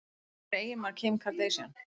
Hver er eiginmaður Kim Kardashian?